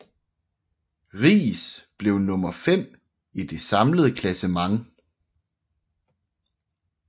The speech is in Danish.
Riis blev nummer fem i det samlede klassement